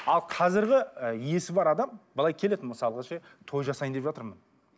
ал қазіргі і есі бар адам былай келеді мысалға ше той жасайын деп жатырмын